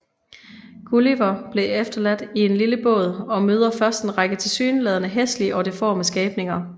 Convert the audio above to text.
Gulliver bliver efterladt i en lille båd og møder først en række tilsyneladende hæslige og deforme skabninger